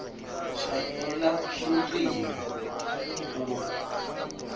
shayela lucingo ku